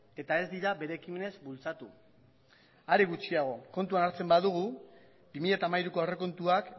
eta ez dira bere ekimenez bultzatu are gutxiago kontuan hartzen badugu bi mila hamairuko aurrekontuak